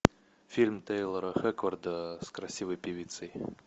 фильм тейлора хэкфорда с красивой певицей